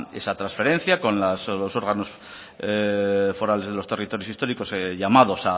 esa transferencia con los órganos forales de los territorios históricos llamados